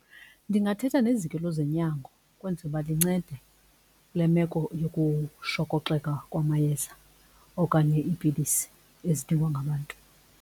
Ndingathetha neziko lwezonyango ukwenzela uba lincede kule meko yokushokoxeka kwamayeza okanye iipilisi ezidingwa ngabantu.